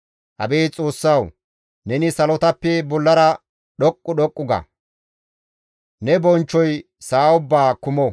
Abeet Xoossawu! Neni salotappe bollara dhoqqu dhoqqu ga; ne bonchchoy sa7a ubbaa kumo.